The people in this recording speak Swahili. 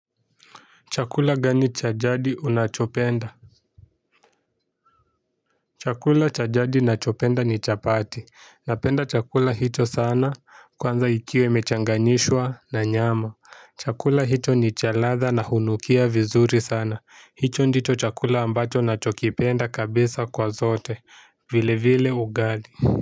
Chakula gani chajadi unachopenda? Chakula cha jadi nachopenda ni chapati. Napenda chakula hicho sana kwanza ikiwa imechanganyishwa na nyama. Chakula hicho ni cha ladha na hunukia vizuri sana. Hicho ndicho chakula ambacho nachokipenda kabisa kwa zote. Vile vile ugali.